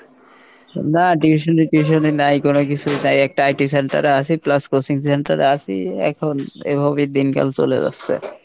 না tuition tuition নাই কোনো কিছু, তাই একটা IT center আছি plus coaching center এ আছি, এখন এভাবেই দিনকাল চলে যাচ্ছে।